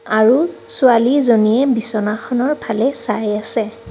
আৰু ছোৱালী জনীয়ে বিছনাখনৰ ফালে চাই আছে।